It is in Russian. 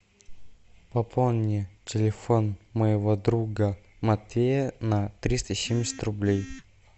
пополни телефон моего друга матвея на триста семьдесят рублей